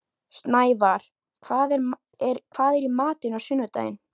Snævarr, hvað er í matinn á sunnudaginn?